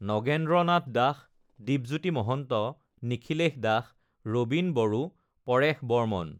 Nagendra Nath Das, Dwipjyoti Mahanta, Nikhilesh Das, Rabin Boro, Paresh Barman